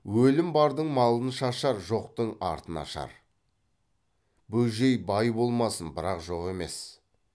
өлім бардың малын шашар жоқтың артын ашар бөжей бай болмасын бірақ жоқ емес